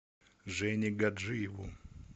жене гаджиеву